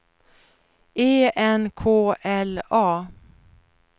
E N K L A